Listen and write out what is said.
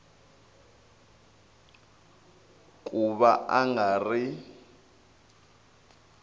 ku va a nga ri